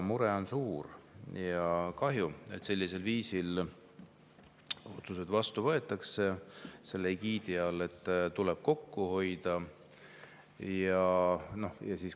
Mure on suur ja väga kahju, et sellised otsused egiidi all, et tuleb kokku hoida, vastu võetakse.